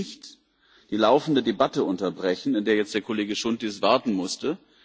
Aber Sie können nicht die laufende Debatte unterbrechen, in der jetzt der Kollege Chountis warten musste.